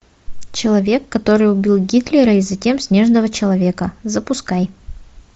человек который убил гитлера и затем снежного человека запускай